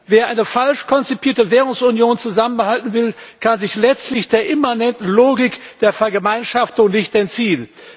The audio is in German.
Wer eine falsch konzipierte Währungsunion zusammenhalten will, kann sich letztlich der immanenten Logik der Vergemeinschaftung nicht entziehen.